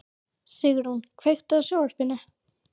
Sigrún, kveiktu á sjónvarpinu.